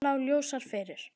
Annað lá ljósar fyrir.